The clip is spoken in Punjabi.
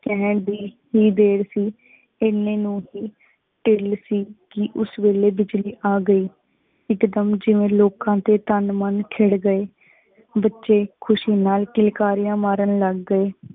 ਕਹਿਣ ਦੀ ਹੀ ਦੇਰ ਸੀ ਇਹਨੇ ਨੂੰ ਅਸੀਂ ਢਿਲ ਸੀ ਕਿ ਉਸ ਵੇਲੇ ਬਿਜਲੀ ਆ ਗਈ, ਇਕਦਮ ਜਿਂਵੇ ਲੋਕਾਂ ਤੇ ਤਨ ਮਨ ਛਿੱੜ ਗਏ, ਬਚੇ ਖੁਸ਼ੀ ਨਾਲ ਕਿਲਕਾਰਿਯਾਂ ਮਾਰਨ ਲਗ ਗਏ।